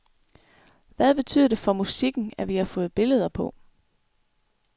Hvad betyder det for musikken, at vi har fået billeder på.